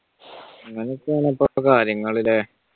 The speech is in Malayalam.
അങ്ങനെ ഒകെ ആണ് ഇപ്പളത്തെ കാര്യങ്ങൾ അല്ല?